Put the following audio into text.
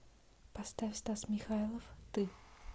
поставь стас михайлов ты